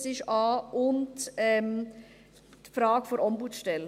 Es ist der Punkt a und die Frage der Ombudsstelle.